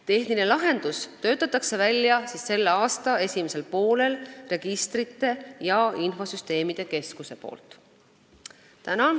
Tehnilise lahenduse töötab selle aasta esimesel poolel välja Registrite ja Infosüsteemide Keskus.